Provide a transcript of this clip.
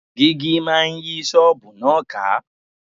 Dígí máa yí ṣọ́ọ̀bù náà ká.